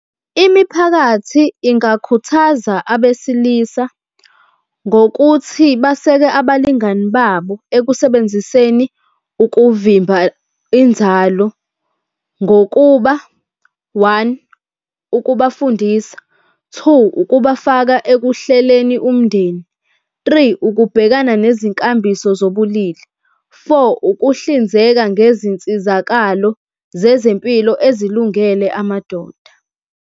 Imiphakathi ingakhuthaza abesilisa ngokuthi baseke abalingani babo ekusebenziseni ukuvimba inzalo ngokuba, one, ukubafundisa. Two, ukubafaka ekuhleleni umndeni. Three, ukubhekana nezinkambiso zobulili. Four, ukuhlinzeka ngezinsizakalo zezempilo ezilungele amadoda.